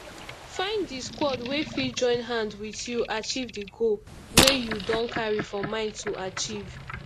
find di squad wey fit join hand with you achive di goal wey you don carry for mind to achieve